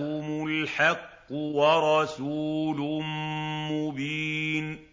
جَاءَهُمُ الْحَقُّ وَرَسُولٌ مُّبِينٌ